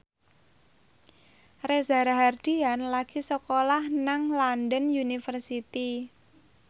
Reza Rahardian lagi sekolah nang London University